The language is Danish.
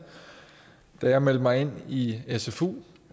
der jeg meldte mig ind i sfu